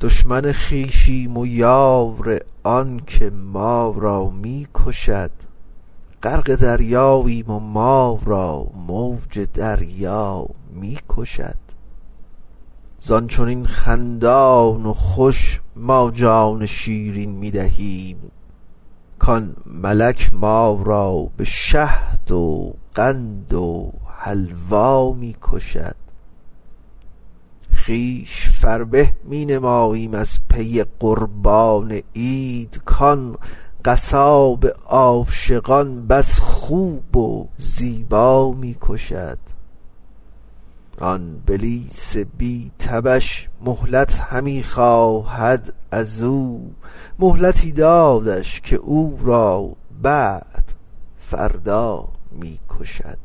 دشمن خویشیم و یار آنک ما را می کشد غرق دریاییم و ما را موج دریا می کشد زان چنین خندان و خوش ما جان شیرین می دهیم کان ملک ما را به شهد و قند و حلوا می کشد خویش فربه می نماییم از پی قربان عید کان قصاب عاشقان بس خوب و زیبا می کشد آن بلیس بی تبش مهلت همی خواهد از او مهلتی دادش که او را بعد فردا می کشد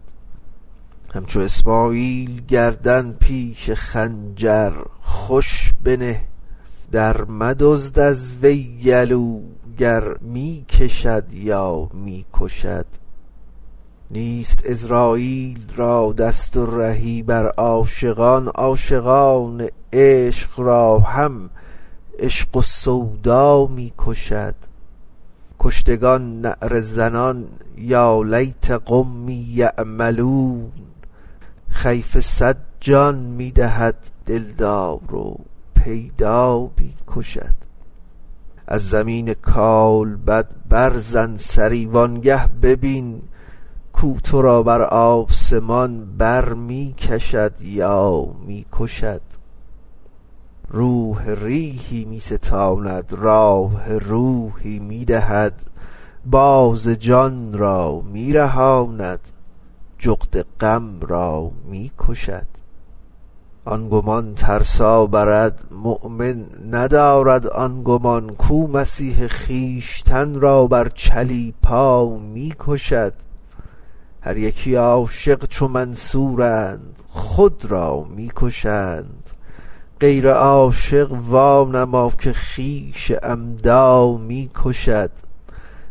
همچو اسماعیل گردن پیش خنجر خوش بنه درمدزد از وی گلو گر می کشد تا می کشد نیست عزراییل را دست و رهی بر عاشقان عاشقان عشق را هم عشق و سودا می کشد کشتگان نعره زنان یا لیت قومی یعلمون خفیه صد جان می دهد دلدار و پیدا می کشد از زمین کالبد برزن سری وانگه ببین کو تو را بر آسمان بر می کشد یا می کشد روح ریحی می ستاند راح روحی می دهد باز جان را می رهاند جغد غم را می کشد آن گمان ترسا برد مؤمن ندارد آن گمان کو مسیح خویشتن را بر چلیپا می کشد هر یکی عاشق چو منصورند خود را می کشند غیر عاشق وانما که خویش عمدا می کشد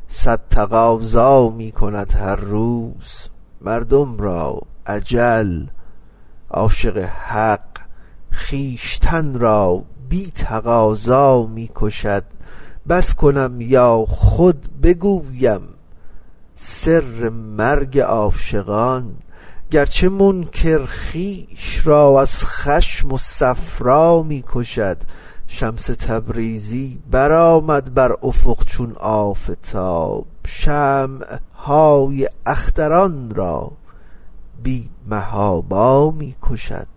صد تقاضا می کند هر روز مردم را اجل عاشق حق خویشتن را بی تقاضا می کشد بس کنم یا خود بگویم سر مرگ عاشقان گرچه منکر خویش را از خشم و صفرا می کشد شمس تبریزی برآمد بر افق چون آفتاب شمع های اختران را بی محابا می کشد